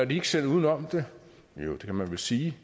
de ikke selv var ude om det jo det kan man vel sige